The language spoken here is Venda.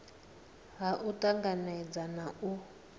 ha u tanganedza na u